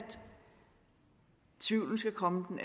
tvivlen skal komme den